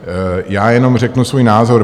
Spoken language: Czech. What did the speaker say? Já jenom řeknu svůj názor.